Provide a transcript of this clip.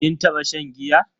Kin taba shan giya?